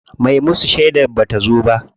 Me musu shedar bata zo ba.